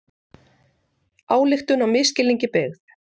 Ályktun á misskilningi byggð